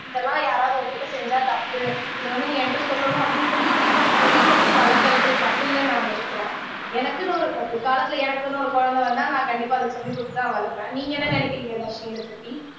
இதெல்லாம் யாராவது உன்கிட்ட செஞ்சா தப்பு இதை வந்து நீ என்கிட்ட சொல்லணும் அப்படின்னு சொல்லி கொடு சொல்லி கொடுத்து வளர்க்கிறது தப்பில்லைன்னு நான் நினைக்கிறேன் எனக்குன்னு ஒரு பிற்காலத்துல எனக்குன்னு ஒரு குழந்தை வந்தா நான் கண்டிப்பா அதுக்கு சொல்லிக் கொடுத்துதான் வளர்ப்பேன் நீங்க என்ன நினைக்கிறீங்க தர்ஷினி இதை பத்தி